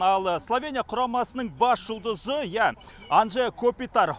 ал словения құрамасының бас жұлдызы ия анжэ копитар